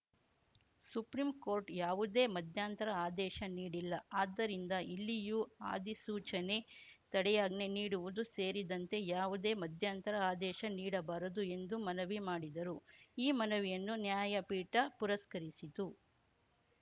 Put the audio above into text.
supreme court ಯಾವುದೇ ಮಧ್ಯಂತರ ಆದೇಶ ನೀಡಿಲ್ಲ ಆದ್ದರಿಂದ ಇಲ್ಲಿಯೂ ಅಧಿಸೂಚನೆ ತಡೆಯಾಜ್ಞೆ ನೀಡುವುದು ಸೇರಿದಂತೆ ಯಾವುದೇ ಮಧ್ಯಂತರ ಆದೇಶ ನೀಡಬಾರದು ಎಂದು ಮನವಿ ಮಾಡಿದರು ಈ ಮನವಿಯನ್ನು ನ್ಯಾಯಪೀಠ ಪುರಸ್ಕರಿಸಿತು